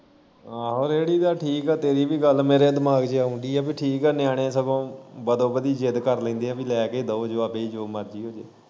ਆਹੋ ਰੇੜੀ ਦਾ ਠੀਕ ਐ ਤੇਰੀ ਵੀ ਗੱਲ ਮੇਰੇ ਦਿਮਾਗ ਚ ਆਉਣ ਦੀ ਐ ਪੀ ਠੀਕ ਐ ਨਿਆਨੇ ਸਗੋਂ ਬਦੋਬਦੀ ਜਿੱਦ ਕਰ ਲੈਂਦੇ ਐ ਪੀ ਲੈ ਕੇ ਹੀ ਦੋ ਜੋ ਮਰਜੀ ਹੋਜੇ।